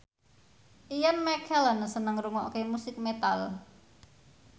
Ian McKellen seneng ngrungokne musik metal